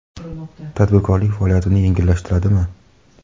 Tadbirkorlik faoliyatini yengillashtiradimi?